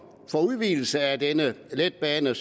for udvidelse af denne letbane